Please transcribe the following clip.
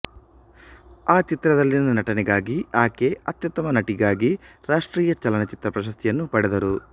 ಆ ಚಿತ್ರದಲ್ಲಿನ ನಟನೆಗಾಗಿ ಆಕೆ ಅತ್ಯುತ್ತಮ ನಟಿಗಾಗಿ ರಾಷ್ಟ್ರೀಯ ಚಲನಚಿತ್ರ ಪ್ರಶಸ್ತಿಯನ್ನು ಪಡೆದರು